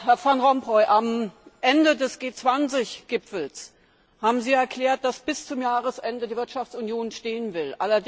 Herr Van Rompuy, am Ende des G20 Gipfels haben Sie erklärt, dass bis zum Jahresende die Wirtschaftsunion stehen soll.